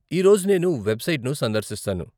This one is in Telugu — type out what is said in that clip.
ఈ రోజు నేను వెబ్సైట్ను సందర్శిస్తాను.